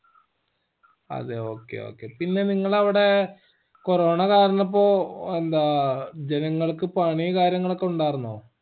അതെ okay okay പിന്നെ നിങ്ങളവിടെ corona കാർണിപ്പോ എന്താ ജനങ്ങൾക്ക് പണി കാര്യങ്ങളൊക്കെ ഉണ്ടാർന്നോ